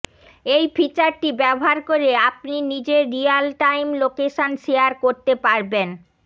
এই ফিচারটি ব্যবহার করে আপনি নিজের রিয়াল টাইম লোকেশন শেয়ার করতে পারবেন